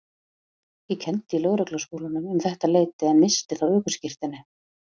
Ég kenndi í Lögregluskólanum um þetta leyti en missti þá ökuskírteinið.